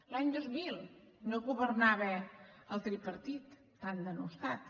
l’any dos mil no governava el tripartit tan denostat